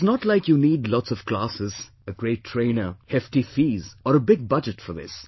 It is not like you need lots of classes, a great trainer, hefty fees or a big budget for this